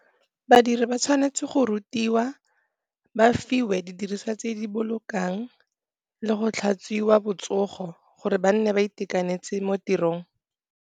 Badiri ba tshwanetse go rutiwa, ba fiwe didiriswa tse di bolokang le go tlhatswiwa botsogo, gore ba nne ba itekanetse mo tirong.